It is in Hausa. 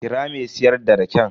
Kira me siyar da raken.